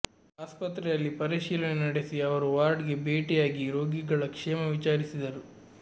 ಆಸ್ಪತ್ರೆಯಲ್ಲಿ ಪರಿಶೀಲನೆ ನಡೆಸಿದ ಅವರು ವಾರ್ಡ್ಗೆ ಭೇಟಿಯಾಗಿ ರೋಗಿಗಳ ಕ್ಷೇಮ ವಿಚಾರಿಸಿದರು